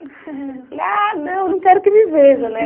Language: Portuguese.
Falei ah, não, não quero que me veja, né?